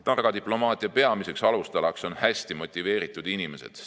Targa diplomaatia peamine alustala on hästi motiveeritud inimesed.